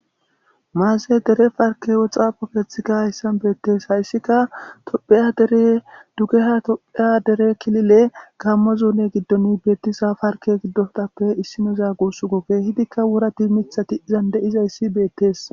Maaze dere parkke xaafo keththika hayssan bettes hayssika tophphiya deere duggeha tophphiya deere killile gammo zoone giddon bettiza paarkke giidottappe issinoza gussuko kehiddika worrati miththati iizan deiizayssi bettes.